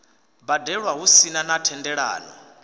badelwa hu sina na thendelano